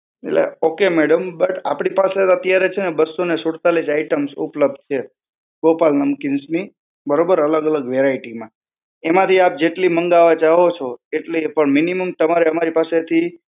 એટલે okay madam, but આપડી પાસે અત્યારે છે ને બસ્સો ને સુડતાલીસ આઈટમ્સ ઉપલબ્ધ છે, ગોપાલ નમકીન્સની. બરોબર? અલગ અલગ વેરાઈટીમાં. એમાંથી આપ જેટલી મંગાવા ચાહો છો, એટલી પણ minimum તમારે અમારી પાસેથી